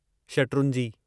शटरूंजी